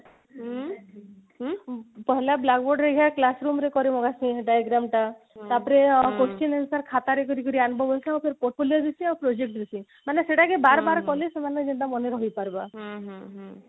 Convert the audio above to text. ଭଲ blackboard ହେରିକା classroom ରେ କରିବ diagram ଟା ତାପରେ ଆଁ question answer ଖାତାରେ କରିକିରି portfolio ବେଶୀ ଆଉ project ବେଶୀ ମାନେ ସେଟା କେ ବାରବାର କଲେ ସେମାନେ ସେଟା ମନେ ରହି ପାରବା